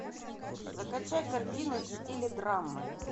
закачай картину в стиле драмы